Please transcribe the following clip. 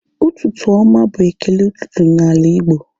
Ụtụtụ oma bụ ekele ụtụtụ na ala Igbo